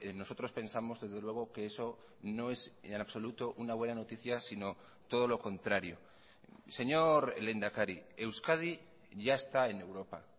nosotros pensamos desde luego que eso no es en absoluto una buena noticia sino todo lo contrario señor lehendakari euskadi ya está en europa